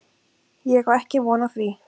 Ég á ekki von á því.